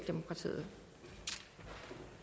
stedet for